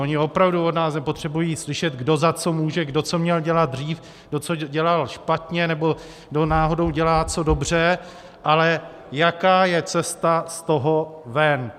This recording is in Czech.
Oni opravdu od nás nepotřebují slyšet, kdo za co může, kdo co měl dělat dřív, kdo co dělal špatně nebo kdo náhodou dělá co dobře, ale jaká je cesta z toho ven.